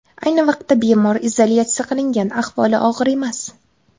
Ayni vaqtida bemor izolyatsiya qilingan, ahvoli og‘ir emas.